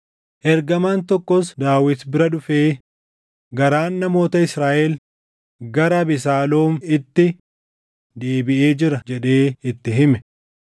Ergamaan tokkos Daawit bira dhufee, “Garaan namoota Israaʼel gara Abesaaloom itti deebiʼee jira” jedhee itti hime.